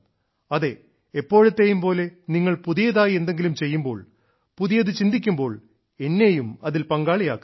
അതെ എപ്പോഴത്തെയും പോലെ നിങ്ങൾ പുതിയതായി എന്തെങ്കിലും ചെയ്യുമ്പോൾ പുതിയത് ചിന്തിക്കുമ്പോൾ എന്നെയും അതിൽ പങ്കാളിയാകുക